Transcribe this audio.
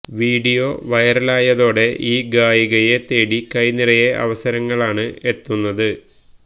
video വൈറലായതോടെ ഈ ഗായികയെ തേടി കൈനിറയെ അവസരങ്ങളാണ് എത്തുന്നത്